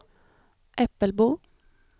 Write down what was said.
Äppelbo